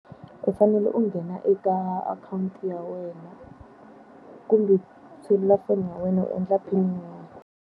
U fanele u nghena eka akhawunti ya wena, kumbe selulafoni ya wena u endla PIN number.